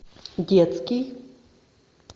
детский